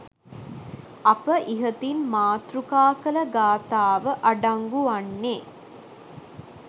අප ඉහතින් මාතෘකා කළ ගාථාව අඩංගු වන්නේ